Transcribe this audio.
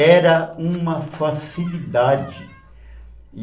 era uma facilidade.